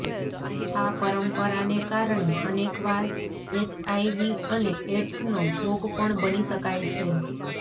આ પરંપરાને કારણે અનેકવાર એચઆઈવી અને એઈડ્સનો ભોગ પણ બની શકાય છે